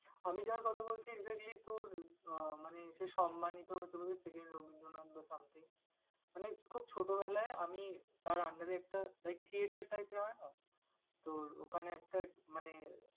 আমি যার কথা বলছি exactly তোর আহ মানে সে সম্মানিত হতে পারে second রবীন্দ্রনাথ বা something । মানে খুব ছোটবেলায় আমি তার under এ একটা like theatre type এর হয় না? তোর ওখানে একটা মানে